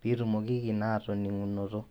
piitumokiki naa atoning'unoto.